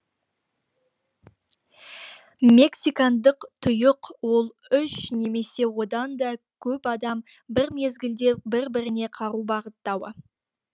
мексикандық тұйық ол үш немесе одан да көп адам бір мезгілде бір біріне қару бағыттауы